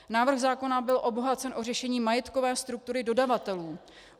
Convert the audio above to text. Návrh zákona byl obohacen o řešení majetkové struktury dodavatelů.